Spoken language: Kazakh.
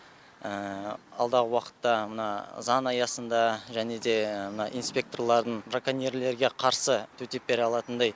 алдағы уақытта мына заң аясында және де мына инспекторлардың браконьерлерге қарсы төтеп бере алатындай